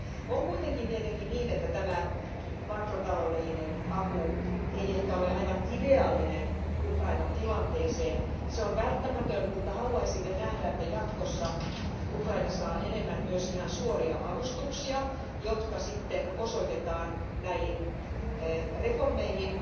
On kuitenkin tietenkin niin, että tämä makrotaloudellinen apu ei ehkä ole aivan ideaalinen Ukrainan tilanteeseen. Se on välttämätön, mutta haluaisimme nähdä, että jatkossa Ukraina saa enemmän myös ihan suoria avustuksia, jotka sitten osoitetaan näihin reformeihin,